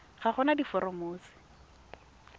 ga go na diforomo tse